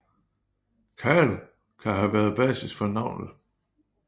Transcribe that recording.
Khal kan have været basis for navnet